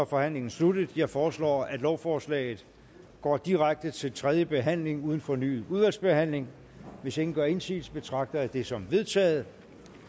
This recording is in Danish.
forhandlingen sluttet jeg foreslår at lovforslaget går direkte til tredje behandling uden fornyet udvalgsbehandling hvis ingen gør indsigelse betragter jeg det som vedtaget